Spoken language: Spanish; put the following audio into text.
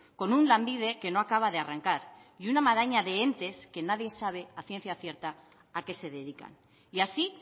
con un lanbide que no acaba de arrancar y una maraña de entes que nadie sabe a ciencia cierta a qué se dedican y así